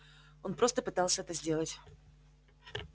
он просто пытался это сделать